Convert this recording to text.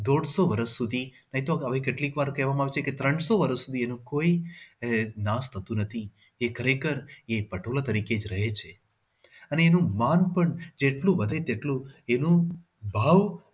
દોઢસો વર્ષ સુધી હવે તો કેટલીક વાર કહેવામાં આવે છે કે ત્રણસો વર્ષ સુધીનું કોઈ નાશ થતું નથી એ ખરેખર એ પટોળા તરીકે જ રહે છે અને એનું માન પણ જેટલું વધે તેટલું એનું ભાવ